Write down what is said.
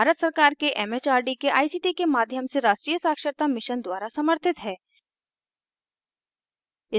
यह भारत सरकार के एमएचआरडी के आईसीटी के माध्यम से राष्ट्रीय साक्षरता mission द्वारा समर्थित है